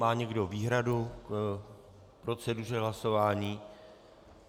Má někdo výhradu k proceduře hlasování?